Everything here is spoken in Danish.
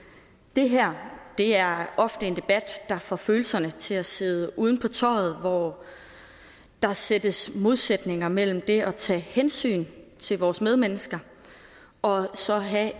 det her er ofte en debat der får følelserne til at sidde uden på tøjet og hvor der sættes modsætninger op mellem det at tage hensyn til vores medmennesker og så at have